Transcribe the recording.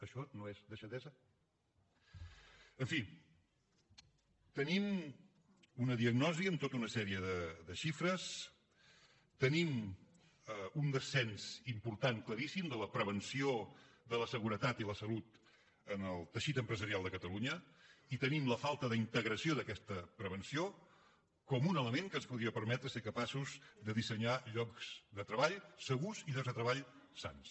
això no és deixadesa en fi tenim una diagnosi amb tota una sèrie de xifres tenim un descens important claríssim de la prevenció de la seguretat i la salut en el teixit empresarial de catalunya i tenim la falta d’integració d’aquesta prevenció com un element que ens podria permetre ser capaços de dissenyar llocs de treball segurs i llocs de treball sans